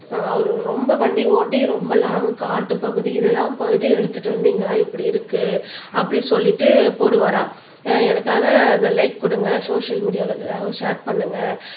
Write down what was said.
ஆஹ் அவரு ரொம்ப வண்டி ஓட்டி ரொம்ப லாங் காட்டுப்பகுதி இதெல்லாம் போயிட்டு எடுத்துட்டு வந்து இங்கெல்லாம் இப்படி இருக்கு அப்படி சொல்லிட்டு போடுவாராம் அஹ் எனக்காக அந்த லைக் குடுங்க சோசியல் மீடியால எல்லாரும் ஷேர் பண்ணுங்க